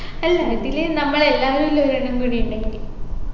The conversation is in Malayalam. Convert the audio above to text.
അല്ല ഇതിൽ നമ്മൾ എല്ലാരും ഉള്ള ഒരെണ്ണം കൂടി ഉണ്ടായിന്